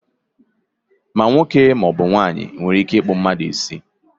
ma nwoke ma ọ bụ nwanyị nwere ike ịkpụ mmadu isi